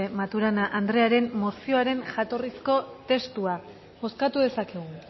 maturana anderearen mozioaren jatorrizko testua bozkatu dezakegu